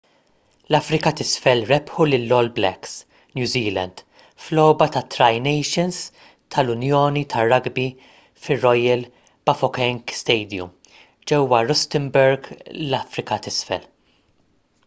l-afrika t’isfel rebħu lill-all blacks new zealand f’logħba tat-tri nations tal-unjoni tar-rugby fir-royal bafokeng stadium ġewwa rustenburg l-afrika t’isfel